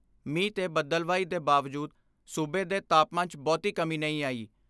ਮੀਂਹ ਤੇ ਬਦਲਵਾਈ ਦੇ ਬਾਵਜੂਦ ਸੂਬੇ ਦੇ ਤਾਪਮਾਨ 'ਚ ਬਹੁਤੀ ਕਮੀ ਨਹੀਂ ਆਈ।